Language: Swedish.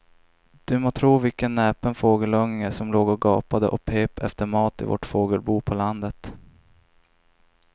Du må tro vilken näpen fågelunge som låg och gapade och pep efter mat i vårt fågelbo på landet.